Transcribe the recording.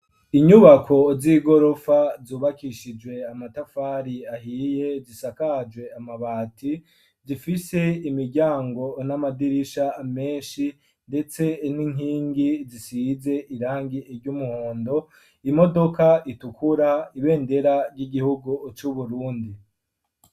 Inyubako z'igorofa, zubakishijwe amatafari ahiye, zisakajwe amabati; zifise imiryango, n'amadirisha menshi, ndetse n'inkingi, zisize irangi ry'umuhondo; imodoka itukura, ibendera ry'igihugu, c'Uburundi.